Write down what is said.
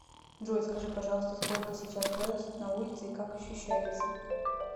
джой скажи пожалуйста сколько сейчас градусов на улице и как ощущается